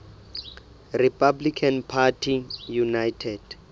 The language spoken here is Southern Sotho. republican party united